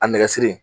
A nɛgɛ siri